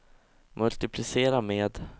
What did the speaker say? multiplicera med